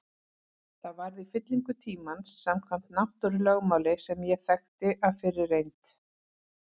Það varð í fylling tímans samkvæmt náttúrulögmáli sem ég þekkti af fyrri reynd.